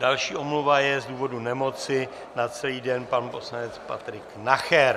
Další omluva je z důvodu nemoci na celý den, pan poslanec Patrik Nacher.